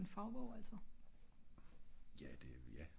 men øh en fagbog altså?